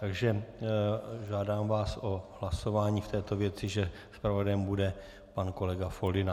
Takže žádám vás o hlasování v této věci, že zpravodajem bude pan kolega Foldyna.